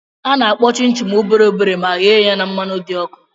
Ana-akpụ chịn chịn obere obere ma ghee ya na mmanụ dị ọkụ.